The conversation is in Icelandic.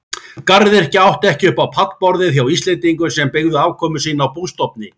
Garðyrkja átti ekki upp á pallborðið hjá Íslendingum sem byggðu afkomu sína á bústofni.